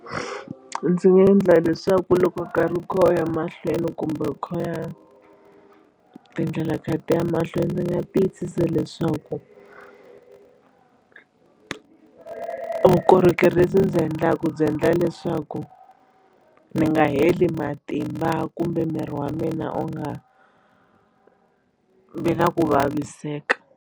Ndzi nga endla leswaku loko nkarhi wu kha wu ya mahlweni kumbe wu kha u ya tindlela ti kha ti ya mahlweni ndzi nga tiyisisa leswaku vukorhokeri lebyi ndzi endlaka byi endla leswaku ni nga heli matimba kumbe miri wa mina u nga vi na ku vaviseka.